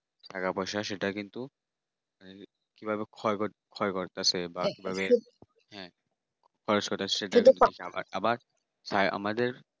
টাকা পয়সা সেটা কিন্তু ক্ষয় ক্ষয় করতেছে বা কিভাবে বা কিভাবে খরচ করতে হচ্ছে খাবার দাবার খায়